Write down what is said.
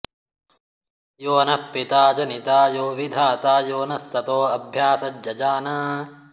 यो नः॑ पि॒ता ज॑नि॒ता यो वि॑धा॒ता यो नः॑ स॒तो अ॒भ्या सज्ज॒जान॑